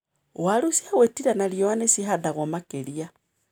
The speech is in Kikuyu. Waru ciagwĩtira na riũa nĩcihandagwo makĩria.